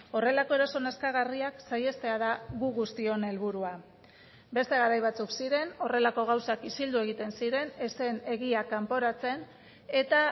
horrelako eraso nazkagarriak saihestea da gu guztion helburua beste garai batzuk ziren horrelako gauzak isildu egiten ziren ez zen egia kanporatzen eta